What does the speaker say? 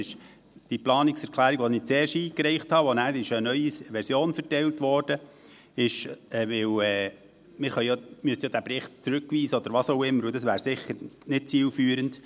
Die Planungserklärung, die ich zuerst eingereicht hatte und zu der nachher eine neue Version verteilt wurde, ist, weil … Wir müssten diesen Bericht ja zurückweisen oder was auch immer, und das wäre sicher nicht zielführend.